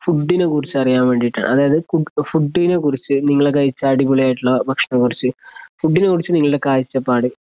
ഫുഡിനെകുറിച്ച് അറിയാൻവേണ്ടിട്ടാണ് അതായിത് ഫുഡ് ഫുഡിനെകുറിച്ച് നിങ്ങള് കഴിച്ച അടിപൊളി ആയിട്ടുള്ള ഭക്ഷണത്തെക്കുറിച്ചു ഫൂഡിനെ കുറിച്ച് നിങ്ങളടെ കാഴ്ചപ്പാട്